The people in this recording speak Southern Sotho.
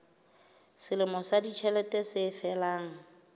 selemo sa ditjhelete se felang